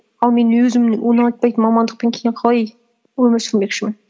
ал мен өзімнің ұнатпайтын мамандықпен кейін қалай өмір сүрмекшімін